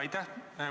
Aitäh!